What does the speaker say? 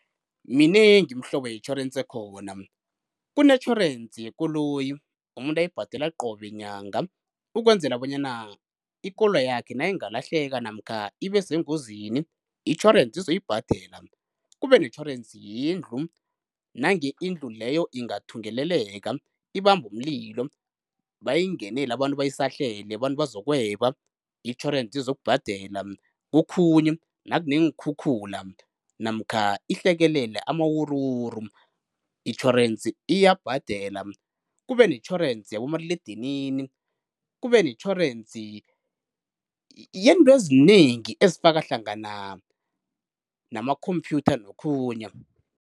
Minengi imihlobo yetjhorensi ekhona, kunetjhorensi yekoloyi umuntu ayibhadela qobe nyanga ukwenzela bonyana ikoloyi yakhe nayingalahleka namkha ibe sengozini itjhorensi izoyibhadela. Kube netjhorensi yendlu, nange indlu leyo ingathungeleleka ibambe umlilo, bayingenele abantu bayisahlele abantu bazokweba itjhorensi izokubhadela. Kokhunye nakuneenkhukhula namkha ihlekelele amawuruwuru itjhorensi iyabhadela. Kube netjhorensi yabomaliledinini, kube netjhorensi yezinto ezinengi ezifaka hlangana nama-computer nokhunye.